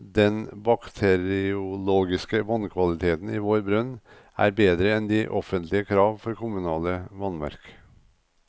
Den bakteriologiske vannkvaliteten i vår brønn er bedre enn de offentlige krav for kommunale vannverk.